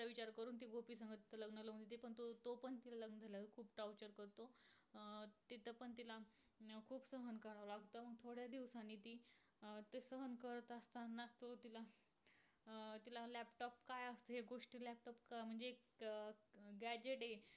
फक्त म्हणजे एक graduate